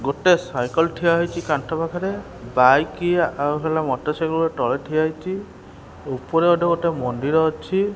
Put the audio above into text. ଗୋଟେ ସାଇକଲ୍ ଠିଆ ହେଇଚି କାନ୍ଥ ପାଖରେ ବାଇକ୍ ଆଉ ହେଲା ମଟରସାଇକଲ ତଳେ ଠିଆ ହେଇଚି ଉପରେ ଗୋଟେ ବୋଧେ ମନ୍ଦିର ଅଛି।